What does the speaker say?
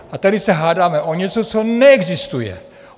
A tady se hádáme o něco, co neexistuje.